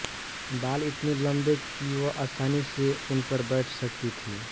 बाल इतने लम्बे कि वह आसानी से उन पर बैठ सकती थी